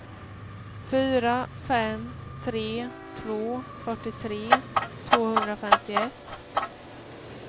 fyra fem tre två fyrtiotre tvåhundrafemtioett